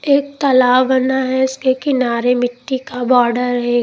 एक तालाब बना है उसके किनारे मिट्टी का बॉर्डर है।